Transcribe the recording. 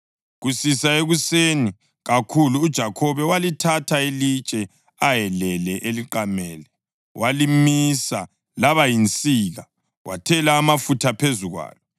Kusisa ekuseni kakhulu uJakhobe walithatha ilitshe ayelele eliqamele walimisa laba yinsika wathela amafutha phezu kwalo.